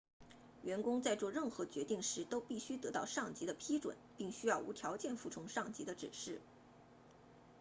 员工在做任何决定时都必须得到上级的批准并需要无条件服从上级的指示